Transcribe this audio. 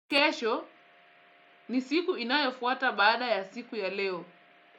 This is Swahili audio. Kesho ni siku inayofuata baada ya siku ya leo.